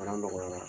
nɔgɔyara